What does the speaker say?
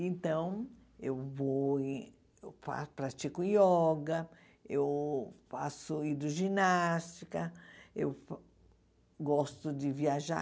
Então, eu vou e fa pratico yoga, eu faço hidroginástica, eu gosto de viajar.